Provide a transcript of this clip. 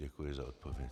Děkuji za odpověď.